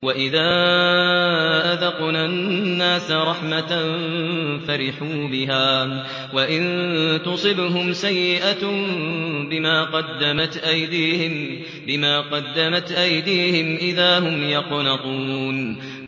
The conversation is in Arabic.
وَإِذَا أَذَقْنَا النَّاسَ رَحْمَةً فَرِحُوا بِهَا ۖ وَإِن تُصِبْهُمْ سَيِّئَةٌ بِمَا قَدَّمَتْ أَيْدِيهِمْ إِذَا هُمْ يَقْنَطُونَ